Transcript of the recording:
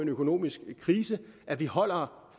økonomisk krise at vi holder